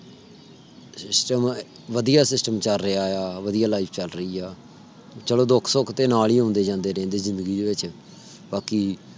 system ਵਧੀਆ system ਚਲ ਰਿਆ। ਵਧੀਆ life ਚਲ ਰਹੀ ਆ। ਚਲੋ ਦੁੱਖ ਸੁਖ ਤੇ ਨਾਲ ਹੀ ਓਂਦੇ ਜਾਂਦੇ ਰਹਿੰਦੇ ਹੈ ਜ਼ਿੰਦਗੀ ਦੇ ਵਿਚ ਬਾਕੀ